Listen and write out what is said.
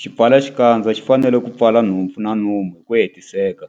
Xipfalaxikandza xi fanele ku pfala nhompfu na nomo hi ku hetiseka.